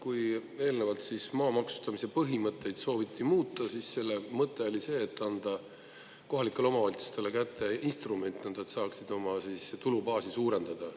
Kui eelnevalt siis maa maksustamise põhimõtteid sooviti muuta, siis selle mõte oli see, et anda kohalikele omavalitsustele kätte instrument, et nad saaksid oma tulubaasi suurendada.